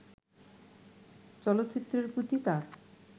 চলচ্চিত্রের প্রতি তার